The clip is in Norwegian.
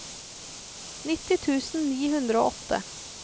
nitti tusen ni hundre og åtte